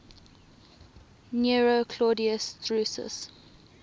nero claudius drusus